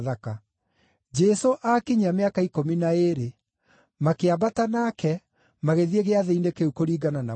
Jesũ aakinyia mĩaka ikũmi na ĩĩrĩ, makĩambata nake magĩthiĩ Gĩathĩ-inĩ kĩu kũringana na mũtugo.